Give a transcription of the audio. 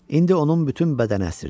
İndi onun bütün bədəni əsirdi.